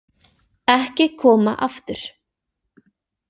Ekki koma aftur.